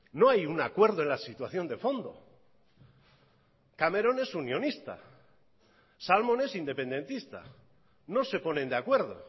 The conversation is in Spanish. no hay un acuerdo en la situación de fondo cameron es unionista salmon es independentista no se ponen de acuerdo